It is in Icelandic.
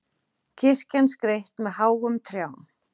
Kirkjan skreytt með háum trjám